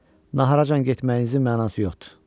Naharacan getməyinizin mənası yoxdur.